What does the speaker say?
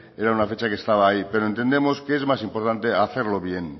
era una fecha que estaba ahí pero entendemos que es más importante hacerlo bien